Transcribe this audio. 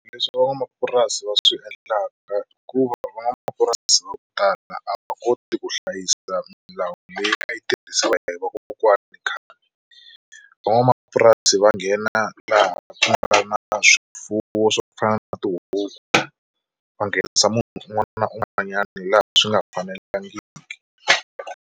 Leswi van'wamapurasi va swi endlaka i ku va van'wamapurasi vo tala a va koti ku hlayisa milawu leyi a yi tirhisiwa hi vakokwana khale, van'wamapurasi va nghena laha ku nga na swifuwo swo fana na tihuku va nghenisa munhu un'wana na un'wanyana laha swi nga fanelangiki.